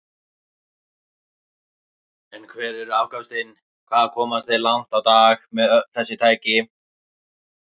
En hver eru afköstin, hvað komast þeir langt á dag með öll þessi tæki?